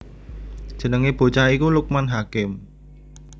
Jenengé bocah iku Lukman Hakim